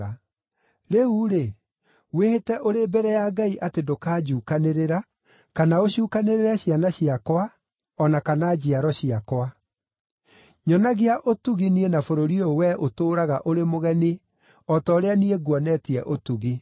Rĩu-rĩ, wĩhĩte ũrĩ mbere ya Ngai atĩ ndũkanjuukanĩrĩra, kana ũcuukanĩre ciana ciakwa, o na kana njiaro ciakwa. Nyonagia ũtugi niĩ na bũrũri ũyũ we ũtũũraga ũrĩ mũgeni o ta ũrĩa niĩ nguonetie ũtugi.”